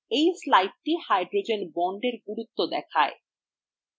এই slide hydrogen বন্ডএর গুরুত্ব দেখায়